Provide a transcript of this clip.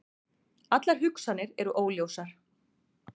Allar hugsanir eru óljósar.